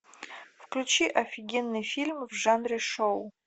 включи офигенный фильм в жанре шоу